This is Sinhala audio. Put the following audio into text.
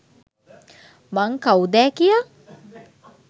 මං කවුදෑ කියා